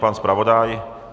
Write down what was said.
Pan zpravodaj?